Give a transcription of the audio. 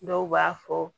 Dɔw b'a fɔ